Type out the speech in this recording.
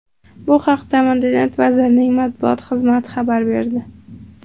Bu haqda Madaniyat vazirligi matbuot xizmati xabar berdi .